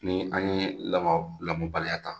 Ni an ye lamɔ lamɔbaliya ta